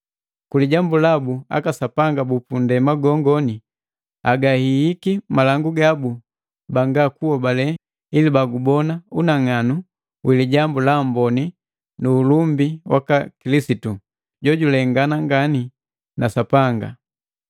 Kulijambu labu aka sapanga bupundema gongoni agahiiki malangu gabu banga kuhobale ili bagubona unang'anu wi Lijambu la Amboni nu ulumbi waka Kilisitu, jojulengana ngani na Sapanga.